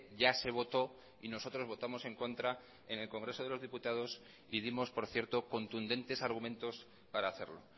ya se votó y nosotros votamos en contra en el congreso de los diputados y dimos por cierto contundentes argumentos para hacerlo